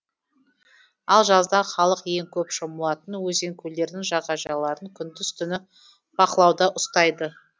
ал жазда халық ең көп шомылатын өзен көлдердің жағажайларын күндіз түні бақылауда ұстайды